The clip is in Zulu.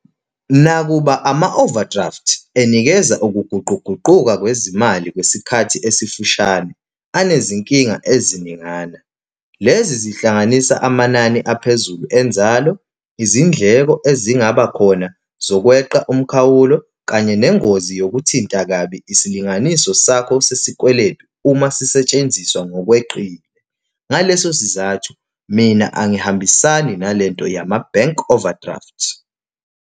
Nakuba ama-overdraft enikeza ukuguquguquka kwezimali kwesikhathi esifushane, anezinkinga eziningana. Lezi zihlanganisa amanani aphezulu enzalo, izindleko ezingaba khona zokwenqa umkhawulo, kanye nengozi yokumthinta kabi isilinganiso sakho sesikweletu uma sisetshenziswa ngokweqile. Ngaleso sizathu, mina angihambisani nale nto yama-bank overdraft.